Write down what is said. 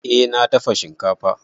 Eh na dafa shinkafa.